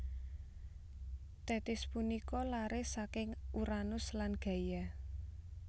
Tethis punika lare saking Uranus lan Gaia